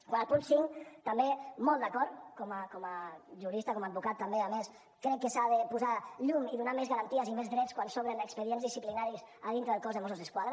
quant al punt cinc també molt d’acord com a jurista com a advocat també a més crec que s’ha de posar llum i donar més garanties i més drets quan s’obren expedients disciplinaris a dintre del cos de mossos d’esquadra